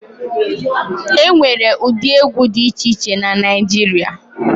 E nwere ụdị egwu dị iche iche na Naịjirịa.